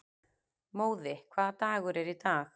Móði, hvaða dagur er í dag?